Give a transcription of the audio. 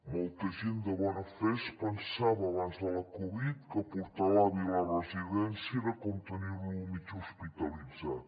molta gent de bona fe es pensava abans de la covid que portar a l’avi a la residència era com tenir lo mig hospitalitzat